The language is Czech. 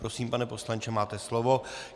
Prosím, pane poslanče, máte slovo.